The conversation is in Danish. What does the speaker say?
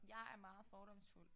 Jeg er meget fordomsfuld